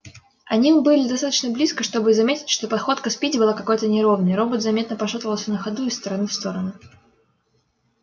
они уже были достаточно близко чтобы заметить что походка спиди была какой-то неровной робот заметно пошатывался на ходу из стороны в сторону